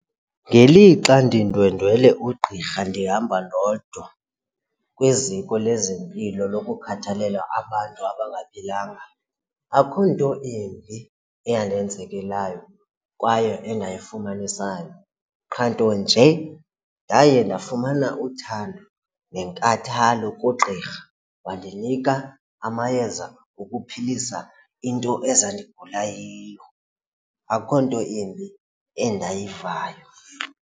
Ngelixa ndindwendwele ugqirha ndihamba ndodwa kwiziko lezempilo lokukhathalela abantu abangaphilanga akho nto imbi eyandenzekelayo kwaye endayifumanisayo qha nto nje ndaye ndafumana uthando nenkathalo kugqirha wandinika amayeza okuphilisa into ezandigula yiyo. Akho nto imbi endayivayo.